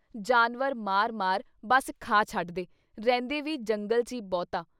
ਜਾਨਵਰ ਮਾਰ-ਮਾਰ ਬਸ ਖਾ ਛੱਡਦੇ, ਰਹਿੰਦੇ ਵੀ ਜੰਗਲ 'ਚ ਈ ਬਹੁਤਾ। ।